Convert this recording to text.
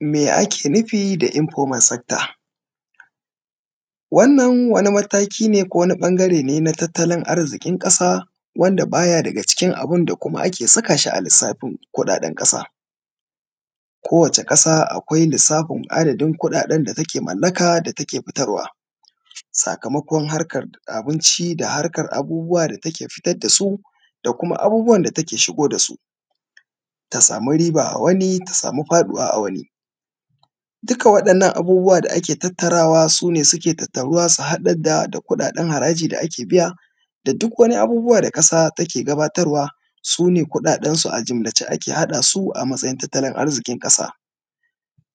Me ake nufi da Informal Sector? Wannan wani mataki ne ko wani ɓangare ne na tattalin arzikin ƙasa, wanda ba ya daga cikin abin da kuma ake saka shi a lissafin kuɗaɗen ƙasa.. Kowace ƙasa akwai lissafin adadin kuɗaɗen da take mallaka da take fitarwa. Sakamakon harkar abinci da harkar abubuwa da take fitar da su, da kuma abubuwan da take shigo da su. Ta sami riba a wani ta sami faɗuwa a wani. Duka waɗannan abubuwa da ake tattarawa su ne suke tattaruwa su haɗar da kuɗaɗen haraji da ake biya, da duk wani abubuwa da ƙasa take gabatarwa su ne kuɗaɗensu a jumlace ake haɗa su a matsayin tattalin arziƙin ƙasa.